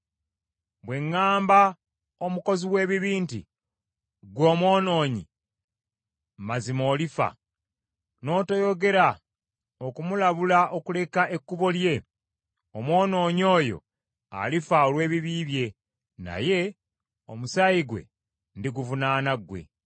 Bwe ŋŋambanga omukozi w’ebibi nti, ‘Ggwe omwonoonyi, mazima olifa,’ n’otoyogera okumulabula okuleka ekkubo lye, omwonoonyi oyo alifa olw’ebibi bye, naye omusaayi gwe ndiguvunaana gwe.